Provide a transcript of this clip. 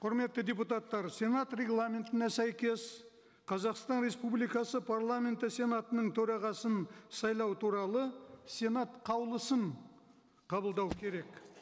құрметті депутаттар сенат регламентіне сәйкес қазақстан республикасы парламенті сенатының төрағасын сайлау туралы сенат қаулысын қабылдау керек